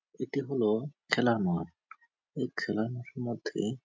এটি হল খেলার মাঠ এই খেলার মাঠের মধ্যে--